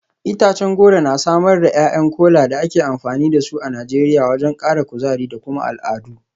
Itacen goro na samar da ’ya’yan Kola da ake amfani da su a Najeriya wajen kara kuzari da kuma al’adu.